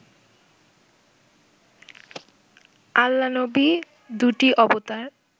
আল্লা-নবি দুটি অবতার